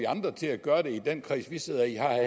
andre til at gøre det i den kreds vi sidder i har